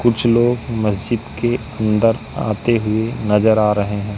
कुछ लोग मस्जिद के अंदर आते हुए नजर आ रहे हैं।